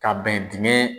Ka bɛn dingɛ